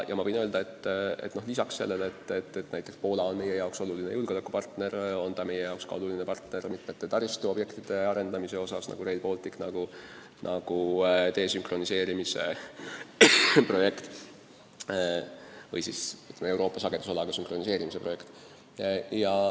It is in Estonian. Ma võin öelda, et lisaks sellele, et Poola on meie jaoks oluline julgeolekupartner, on ta meie jaoks oluline partner ka mitme taristuobjekti arendamisel, näiteks Rail Baltic või Euroopa sagedusalaga sünkroniseerimise projekt.